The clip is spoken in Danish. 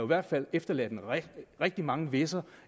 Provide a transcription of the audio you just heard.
hvert fald efterladt rigtig mange hvis’er